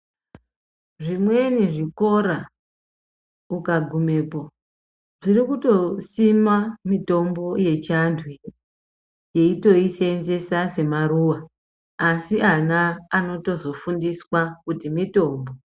Zvimweni zvikora ukagumepo, zvirikutosima mitombo yechi antu iyitoyisenzesa semaruwa. Asi ana anotozofundiswa kuti mitombo.